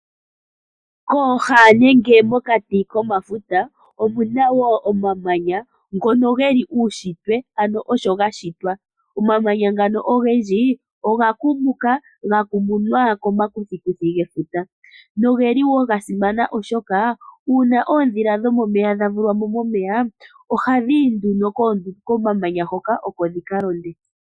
Pooha nenge mokati komafuta, omuna wo omamanya ngono geli uunshitwe ano osho gashitwa. Omamanya ngano ogendji oga kumuka, gakumunwa komakuthiikuthi gefuta, na ogeli wo gasimana oshoka uuna oodhila dhomomeya dhavulwa mo momeya, ohadhi ti nduno komamanya hoka oko dhikalonde.